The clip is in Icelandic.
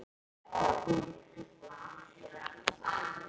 Þín Elín Björk.